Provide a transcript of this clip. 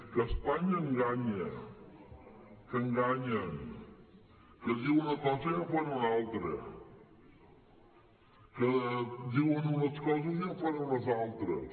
que espanya enganya que enganyen que diuen una cosa i en fan una altra que diuen unes coses i en fan unes altres